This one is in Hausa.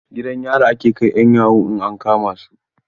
Gidan yari ake kai 'yan yahoo in an kama su.